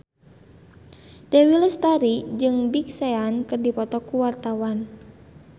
Dewi Lestari jeung Big Sean keur dipoto ku wartawan